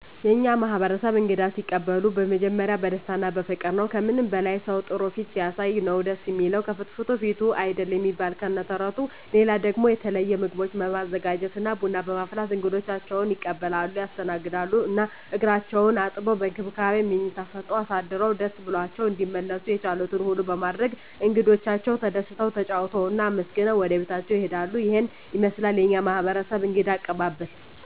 የእኛ ማህበረሰብ እንግዳ ሲቀበሉ መጀመሪያ በደስታ እና በፍቅር ነዉ። ከምንም በላይ ሰዉ ጥሩ ፊት ሲያሳይ ነዉ ደስ እሚለዉ፤ ከፍትፍቱ ፊቱ አይደል እሚባል ከነ ተረቱ። ሌላ ደሞ የተለየ ምግቦችን በማዘጋጀት እና ቡና በማፍላት እንግዶቻቸዉን ይቀበላሉ (ያስተናግዳሉ) ። እና እግራቸዉን አጥበዉ፣ በእንክብካቤ መኝታ ሰጠዉ አሳድረዉ ደስ ብሏቸዉ እንዲመለሱ የቻሉትን ሁሉ በማድረግ እንግዶቻቸዉ ተደስተዉ፣ ተጫዉተዉ እና አመስግነዉ ወደቤታቸዉ ይሄዳሉ። ይሄን ይመስላል የኛ ማህበረሰብ እንግዳ አቀባበል።